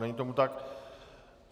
Není tomu tak.